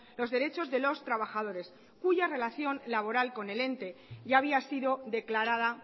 los derechos de los trabajadores cuya relación laboral con el ente ya había sido declarada